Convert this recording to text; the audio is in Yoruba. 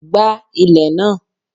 gba ilè naa!